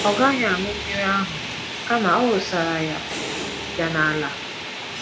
Ọ gaghị aṅụ mmiri ahụ kama ọ wụsara ya ya n’ala.